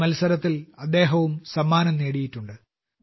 ഈ മത്സരത്തിൽ അദ്ദേഹം സമ്മാനവും നേടിയിട്ടുണ്ട്